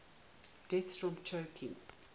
deaths from choking